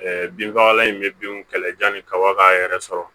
binfagalan in bɛ binw kɛlɛ yani kaba k'a yɛrɛ sɔrɔ